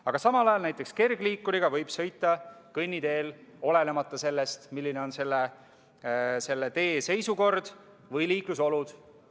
Aga samal ajal võib näiteks kergliikuriga sõita kõnniteel, olenemata sellest, milline on selle tee seisukord või liiklusolud.